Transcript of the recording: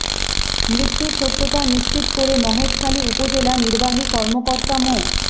মৃত্যুর সত্যতা নিশ্চিত করে মহেশখালী উপজেলা নির্বাহী কর্মকর্তা মো